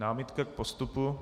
Námitka k postupu?